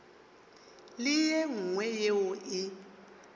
le ye nngwe yeo e